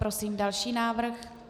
Prosím další návrh.